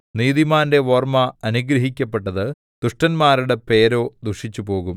നീതിമാന്റെ ഓർമ്മ അനുഗ്രഹിക്കപ്പെട്ടത് ദുഷ്ടന്മാരുടെ പേരോ ദുഷിച്ചുപോകും